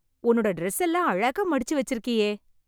உன்னோட டிரஸ் எல்லாம் அழகா மடிச்சு வச்சிருக்கியே!